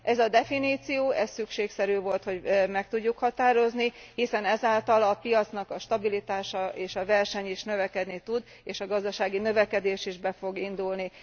Ez a definíció szükségszerű volt, hogy meg tudjuk határozni, hiszen ez által a piacnak a stabilitása és a verseny is növekedni tud, és a gazdasági növekedés is be fog indulni.